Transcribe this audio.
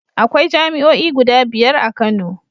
Akwai jami'oi guda biyar a Kano.